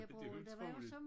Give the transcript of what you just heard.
Det utroligt